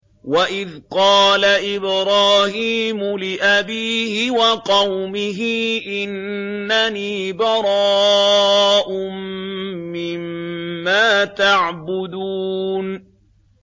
وَإِذْ قَالَ إِبْرَاهِيمُ لِأَبِيهِ وَقَوْمِهِ إِنَّنِي بَرَاءٌ مِّمَّا تَعْبُدُونَ